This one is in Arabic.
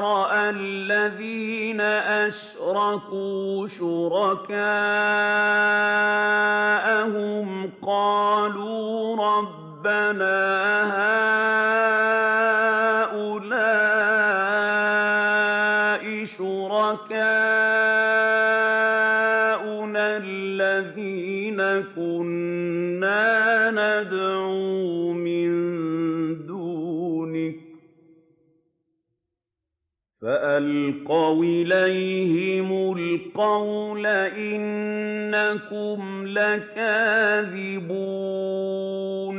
رَأَى الَّذِينَ أَشْرَكُوا شُرَكَاءَهُمْ قَالُوا رَبَّنَا هَٰؤُلَاءِ شُرَكَاؤُنَا الَّذِينَ كُنَّا نَدْعُو مِن دُونِكَ ۖ فَأَلْقَوْا إِلَيْهِمُ الْقَوْلَ إِنَّكُمْ لَكَاذِبُونَ